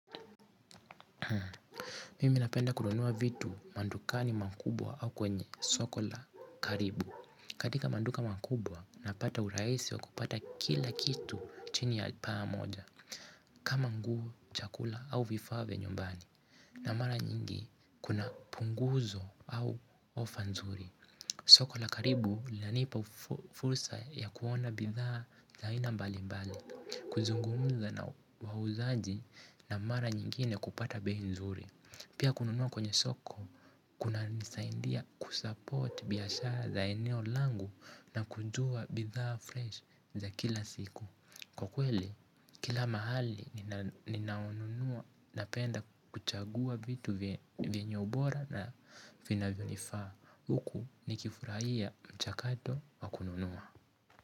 Mimi napenda kununua vitu madukani makubwa au kwenye soko la karibu. Katika maduka makubwa napata urahisi wa kupata kila kitu chini ya paa moja. Kama nguo chakula au vifaa vya nyumbani. Na mara nyingi kuna punguzo au ofa nzuri. Soko la karibu linanipa fursa ya kuona bidhaa za aina mbali mbali. Kuzungumza na wauzaji na mara nyingine kupata bei nzuri pia kununua kwenye soko kunanisaidia kusapoti biashara la eneo langu na kujua bidhaa freshi za kila siku kwa kweli kila mahali ina ninaonunua. Napenda kuchagua vitu vyenye ubora na vinavyonifaa. Huku nikifurahia mchakato wa kununua.